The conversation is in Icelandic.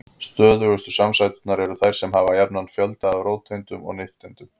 Stöðugustu samsæturnar eru þær sem hafa jafnan fjölda af róteindum og nifteindum.